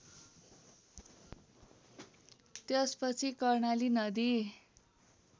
त्यसपछि कर्णाली नदी